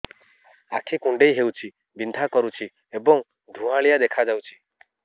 ଆଖି କୁଂଡେଇ ହେଉଛି ବିଂଧା କରୁଛି ଏବଂ ଧୁଁଆଳିଆ ଦେଖାଯାଉଛି